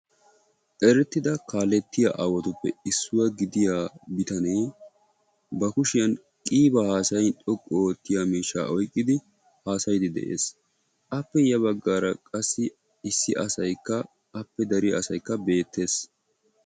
Erettida kaalettiya aawatuppe issuwa gidiya bitanee ba kushiyan qiibaa haasayin xoqqu oottiya miishshaa oyiqqidi haasayiiddi de'es. appe ya baggaara qassi issi asayikka appe dariya asayikka beettes.